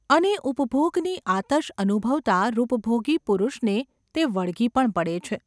અને ઉપભોગની આતશ અનુભવતા રૂપભોગી પુરુષને તે વળગી પણ પડે છે.